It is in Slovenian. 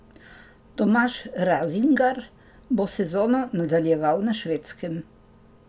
Tomaž Razingar bo sezono nadaljeval na Švedskem.